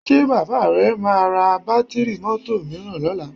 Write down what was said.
Ṣé bàbá rẹ máa ra bátíìrì mọ́tò mìíràn lọ́la?